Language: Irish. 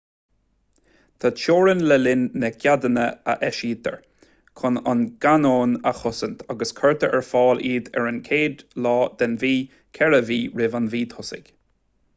tá teorainn le líon na gceadanna a eisítear chun an cainneon a chosaint agus cuirtear ar fáil iad ar an 1ú lá den mhí ceithre mhí roimh an mhí thosaigh